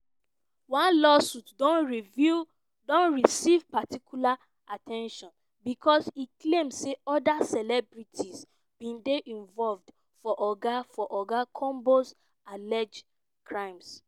one lawsuit don receive particular at ten tion becos e claim say oda celebrities bin dey involved for oga for oga combs' alleged crimes.